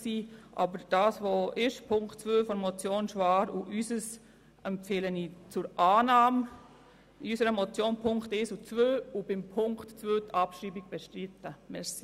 Was besteht, die Ziffer 2 der Motion Schwaar, sowie unsere Motion empfehle ich zur Annahme, für unsere Motion die Ziffern 1 und 2 sowie das Bestreiten der Abschreibung von Ziffer